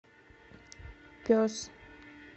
пес